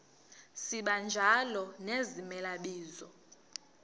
sibanjalo nezimela bizo